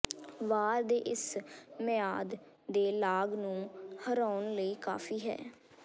ਵਾਰ ਦੇ ਇਸ ਮਿਆਦ ਦੇ ਲਾਗ ਨੂੰ ਹਰਾਉਣ ਲਈ ਕਾਫੀ ਹੈ